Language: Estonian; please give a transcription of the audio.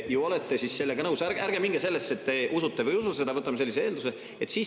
Ärge, et te usute või ei usu seda, võtame lihtsalt sellise eelduse.